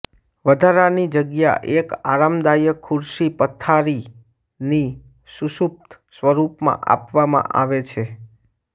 વધારાની જગ્યા એક આરામદાયક ખુરશી પથારીની સુષુપ્ત સ્વરૂપમાં આપવામાં આવે છે